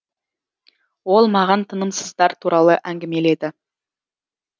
ол маған тынымсыздар туралы әңгімеледі